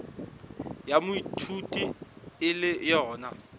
ya moithuti e le yona